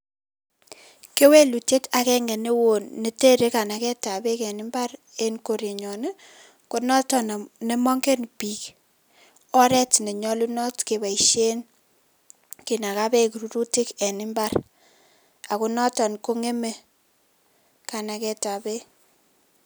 Kewelutiet agenge newon netere kanagetab beek en mbar en korenyon, konotok nemongen biik, oret nenyolunot keboisien kinagaa beek rurutik en mbar ako notok kong'eme kanagetab beek.